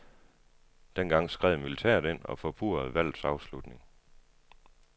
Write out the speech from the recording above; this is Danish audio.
Dengang skred militæret ind og forpurrede valgets afslutning.